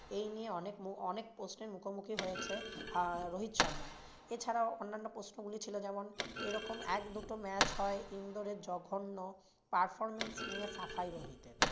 এই নিয়ে অনেক মু অনেক প্রশ্নের মুখোমুখি হয়েছে আহ রোহিত শর্মা। এছাড়াও অন্যান্য প্রশ্নগুলি ছিল যেমন এরকম এক দুটি match হয় ইন্দোরে জঘন্য performance নিয়ে সাফাই রোহিতের।